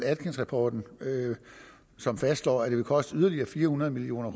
atkinsrapporten som fastslår at det vil koste yderligere fire hundrede million